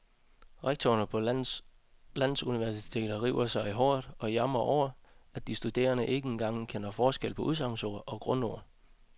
Rektorerne på landets universiteter river sig i håret og jamrer over, at de studerende ikke en gang kender forskel på udsagnsord og grundord.